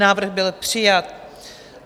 Návrh byl přijat.